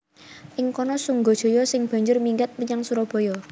Ing kana Sunggajaya sing banjur minggat menyang Surabaya